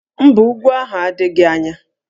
Mba, úgwú ahụ adịghị anya